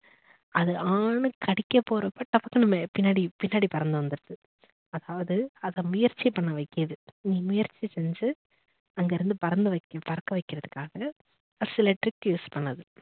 அது ஆனு கடிக்க போறப்ப டப்புன்னு பின்னாடி பின்னாடி பறந்து வந்துடுது அதாவது அத முயற்சி பண்ண வைக்கிது முயற்சி செஞ்சு அங்கிருந்து பறக்க வைக்கிறதுக்காக சில trick use பண்ணுது